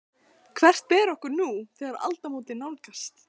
Hvert ber okkur nú, þegar aldamót nálgast?